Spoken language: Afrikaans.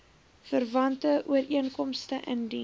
verwante ooreenkomste indien